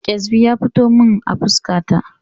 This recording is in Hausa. Ƙyasbi ya fito min a fuska ta